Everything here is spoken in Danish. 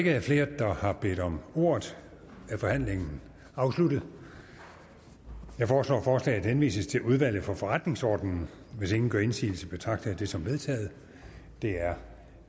ikke er flere der har bedt om ordet er forhandlingen afsluttet jeg foreslår at forslaget henvises til udvalget for forretningsordenen hvis ingen gør indsigelse betragter jeg det som vedtaget det er